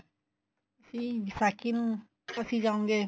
ਸੀ ਵਿਸਾਖੀ ਨੂੰ ਅਸੀਂ ਜਾਉਗੇ